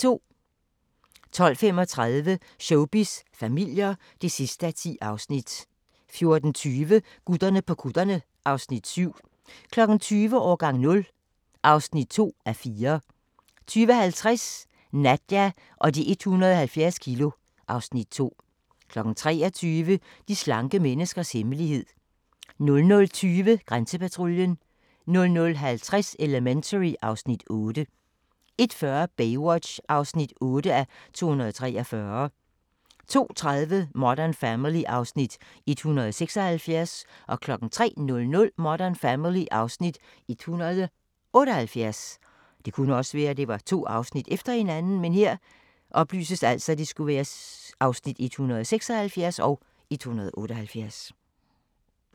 12:35: Showbiz familier (10:10) 14:20: Gutterne på kutterne (Afs. 7) 20:00: Årgang 0 (2:4) 20:50: Nadja og de 170 kilo (Afs. 2) 23:00: De slanke menneskers hemmelighed 00:20: Grænsepatruljen 00:50: Elementary (Afs. 8) 01:40: Baywatch (8:243) 02:30: Modern Family (Afs. 176) 03:00: Modern Family (Afs. 178)